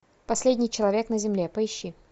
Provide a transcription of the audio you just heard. последний человек на земле поищи